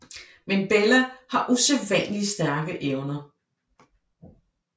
Men Bella har usædvanligt stærke evner